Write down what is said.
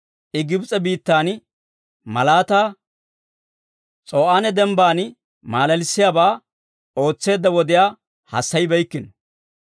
I Gibs'e biittan malaataa, S'o'aane Dembban malalissiyaabaa, ootseedda wodiyaa hassayibeykkino.